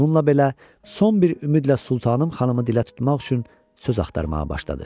Onunla belə, son bir ümidlə sultanım xanımı dilə tutmaq üçün söz axtarmağa başladı.